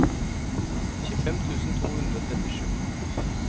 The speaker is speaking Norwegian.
tjuefem tusen to hundre og trettisju